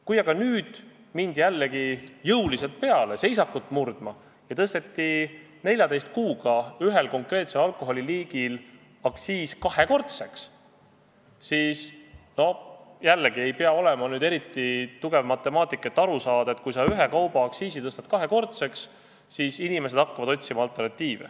Kui aga nüüd mindi jällegi jõuliselt peale seisakut murdma ja tõsteti 14 kuuga ühe konkreetse alkoholiliigi aktsiis kahekordseks, siis, jällegi, ei pea olema eriti tugev matemaatik, et aru saada – kui sa ühe kauba aktsiisi tõstad kahekordseks, siis inimesed hakkavad otsima alternatiive.